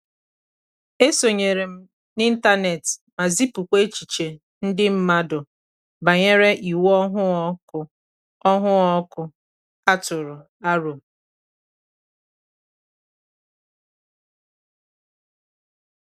e sonyere m n'ịntanet ma zipụkwa echiche nde mmandu banyere iwu ọhụụ ọkụ ọhụụ ọkụ a tụrụ aro